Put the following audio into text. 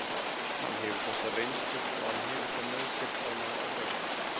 Hann hefur þessa reynslu og hann hefur það með sér að ná árangri.